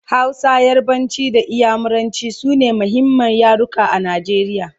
Hausa, yarbanci da inyamuranci sune muhimman yaruka a Najeriya